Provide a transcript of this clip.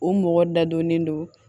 U mɔgɔ dadɔnnen don